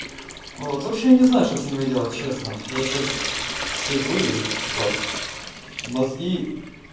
вот вообще не знаю что с ними делать честно я сейчас сижу и всё мозги